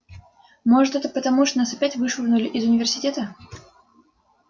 может это потому что нас опять вышвырнули из университета